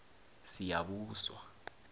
siyabuswa